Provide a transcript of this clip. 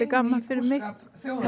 gaman fyrir mig